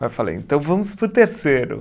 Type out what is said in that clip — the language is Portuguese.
Mas falei, então vamos para o terceiro.